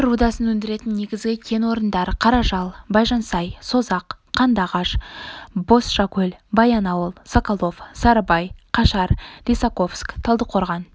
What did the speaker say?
темір рудасын өндіретін негізгі кен орындар қаражал байжансай созақ қандыағаш бозшакөл баянауыл соколов-сарыбай қашар лисаковск талдықорған